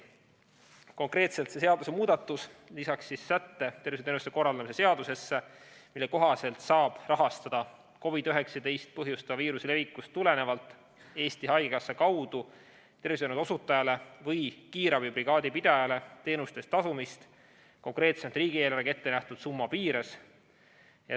Konkreetselt lisab seadusemuudatus tervishoiuteenuste korraldamise seadusesse sätte, mille kohaselt saab COVID‑19 haigust põhjustava viiruse levikust tulenevalt Eesti Haigekassa kaudu rahastada tervishoiuteenuste osutajat või kiirabibrigaadi pidajat teenuste eest tasumiseks, riigieelarvega ette nähtud summa piires.